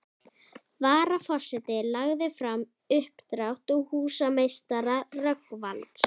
Varaforseti lagði fram uppdrátt húsameistara Rögnvalds